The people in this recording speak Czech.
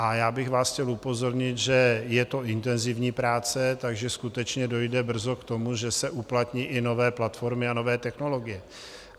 A já bych vás chtěl upozornit, že je to intenzivní práce, takže skutečně dojde brzy k tomu, že se uplatní i nové platformy a nové technologie.